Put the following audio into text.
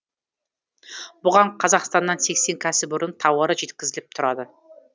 бұған қазақстаннан сексен кәсіпорынның тауары жеткізіліп тұрады